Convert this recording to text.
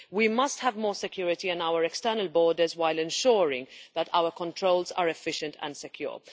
We must have more security on our external borders while ensuring that our controls are efficient and secure.